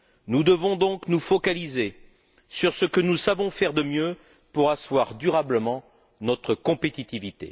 Nous devons donc nous focaliser sur ce que nous savons faire de mieux pour asseoir durablement notre compétitivité.